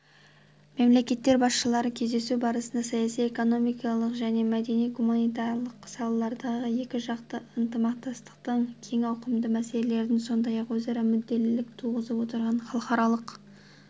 мемлекеттер басшылары кездесу барысында саяси экономикалық және мәдени-гуманитарлық салалардағы екіжақты ынтымақтастықтың кең ауқымды мәселелерін сондай-ақ өзара мүдделілік туғызып отырған халықаралық